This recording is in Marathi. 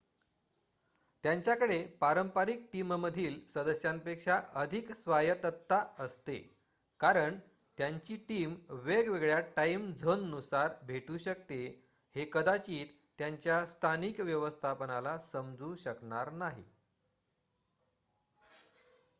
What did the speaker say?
त्यांच्याकडे पारंपरिक टीममधील सदस्यांपेक्षा अधिक स्वायत्तता असते कारण त्यांची टीम वेगवेगळ्या टाईम झोननुसार भेटू शकते हे कदाचित त्यांच्या स्थानिक व्यवस्थापनाला समजू शकणार नाही